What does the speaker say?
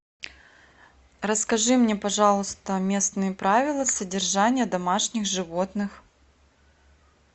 расскажи мне пожалуйста местные правила содержания домашних животных